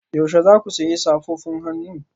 Yaushe za ku sayi safofin hannu